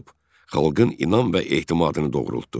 Xalqın inam və etimadını doğruldu.